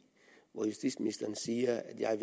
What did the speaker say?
hvor justitsministeren siger … jeg